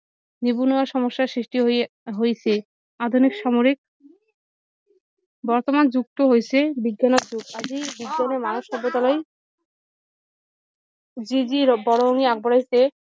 নিবনুৱা সমস্যা সৃষ্টি হৈ হৈছে আধুনিক সাময়িক বৰ্তমান যুগটো হৈছে বিজ্ঞানৰ যোগ আজি বিজ্ঞানে মানৱ সভ্যতালৈ যি যি বৰঙণি আগবঢ়াইছে